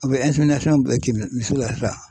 A bɛ bɛɛ kɛ misi misiw la.